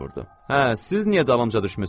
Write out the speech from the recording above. Hə, siz niyə dalımca düşmüsüz?